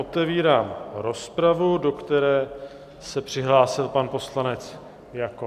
Otevírám rozpravu, do které se přihlásil pan poslanec Jakob.